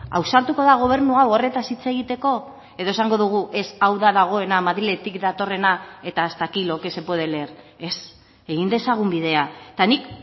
ausartuko da gobernu hau horretaz hitz egiteko edo esango dugu ez hau da dagoena madriletik datorrena eta hasta aquí lo que se puede leer ez egin dezagun bidea eta nik